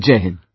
Jai Hind